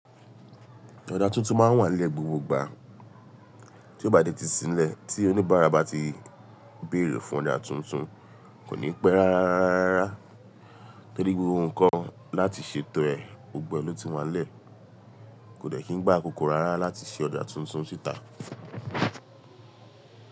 Ọjà tuntun ma ń wà lẹ́ gbogbo ìgbà. Tí ó bá de ti sinlẹ̀, tí oníbàárà bá ti bèèrè fún ọjà tuntun, kò ní pẹ́ rárárárárá. Tórí gbogbo nnkan láti ṣètò ẹ̀, gbogbo ẹ lo tí wá n lẹ̀, kò dẹ̀ kín gba àkókò rárá láti ṣe ọjà tuntun síta.